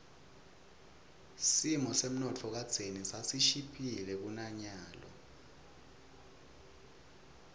simo semnotfo kadzeni sasishiphile kunanyalo